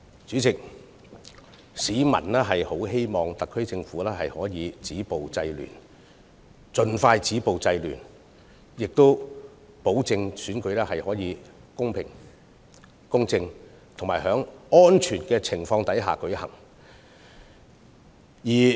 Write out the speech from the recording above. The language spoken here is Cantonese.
主席，市民希望特區政府能盡快止暴制亂，確保選舉能夠公平公正及在安全的情況下舉行。